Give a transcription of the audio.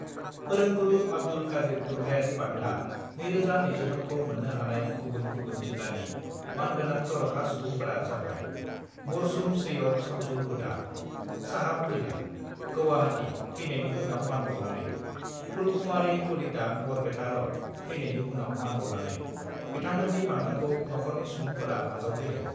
फोरोंगुरु आब्दुल कादिर थुनलाइयारि बान्था 2023 खौ मोन्नो हानाय गुबुन गुबुन जिल्लानि मानगोनां जर'खा सुबुंफोरा जाबाय-मरसुम शैयद शामसुल हुदा, साहाब तिला गौहाती ( थैनायनि उनाव मानबाउनाने ), फुलकुमारि कलिता बरपेटा र'ड ( थैनायनि उनाव मानबाउनानै ) बिथांमोननि बान्थाखौ नख'रनि सुबुफोरा आजावफैदों।